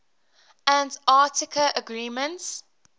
antarctica agreements